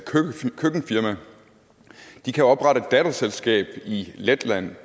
køkkenfirma de kan oprette et datterselskab i letland